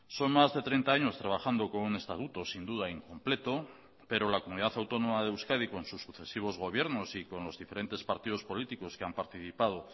son más de treinta años trabajando con un estatuto sin duda incompleto pero la comunidad autónoma de euskadi con sus sucesivos gobiernos y con los diferentes partidos políticos que han participado